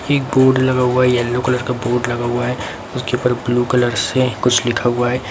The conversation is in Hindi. एक बोर्ड लगा हुआ है येलो कलर का बोर्ड लगा हुआ है उसके ऊपर ब्लू कलर से कुछ लिखा हुआ है।